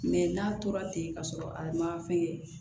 n'a tora ten ka sɔrɔ a ma fɛn kɛ